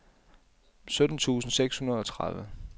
sytten tusind seks hundrede og tredive